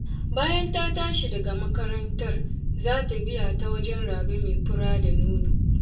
Bayan ta tashi daga makarantar za ta biya ta wajen Rabe mai fura da nono.